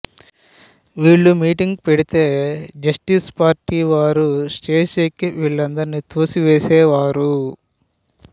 వీళ్ళు మీటింగ్ పెడితే జస్టిస్ పార్టీవారు స్టేజి ఎక్కి వీళ్ళందరిని తోసివేసేవారు